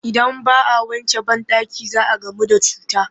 Idan ba a wanke banɗaki za a gamu da cuta